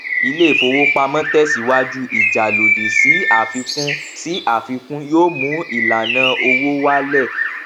iléìfowópamọ tẹsíwájú ìjà lòdì sí àfikún sí àfikún yóò mú ìlànà owó wálẹ